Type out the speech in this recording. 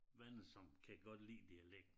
Venner som kan godt lide dialekten